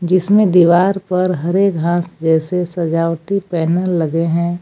इसमें दीवार पर हरे घास जैसे सजावटी बैनर लगे हैं।